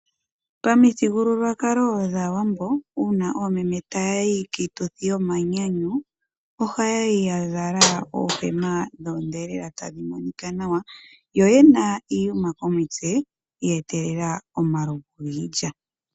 Pamithigululwakalo dhaawambo uuna oomeme tayayi kiituthi yomanyanyu oha yayi yazala oondhelela tadhi monika nawa, yo oyena iiyuma komitse yeetelela omalovu giilya.